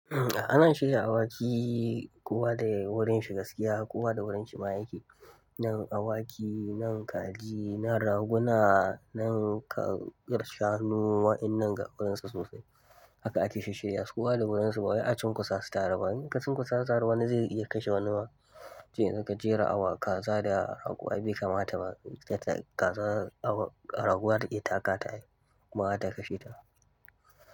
Ana shirya awaki kuwa da wurin shi gaskiya, kuwa da wurin shi ma yake. Nan awaki, nan kaji, nan raguna, nan shanu wa'innan ga wurinsa sosai. Haka ake shisshirya su kowa da wurinsu. Ba wai a cin kusa su tare ba. In aka cin kusa su tare wani zai iya kashe wani ma. Je ka jera awa kaza da rago ai bai kamata ba. Kaza, rago zata iya takata ai kuma zata iya kashe ta.